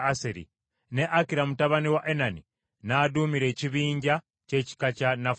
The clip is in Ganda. ne Akira mutabani wa Enani n’aduumira ekibinja ky’ekika kya Nafutaali.